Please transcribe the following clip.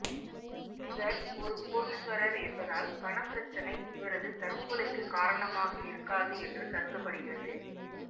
இவர் ஒரு கோடீஸ்வரர் என்பதால் பணப்பிரச்சனை இவரது தற்கொலைக்கு காரணமாக இருக்காது என்று கருதப்படுகிறது